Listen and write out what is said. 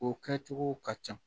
O kɛcogo ka ca